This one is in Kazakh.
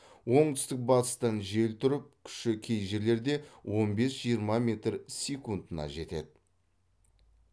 оңтүстік батыстан жел тұрып күші кей жерлерде он бес жиырма метр секундына жетеді